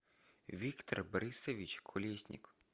виктор борисович колесник